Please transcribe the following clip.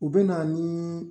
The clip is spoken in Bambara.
U bɛ na ni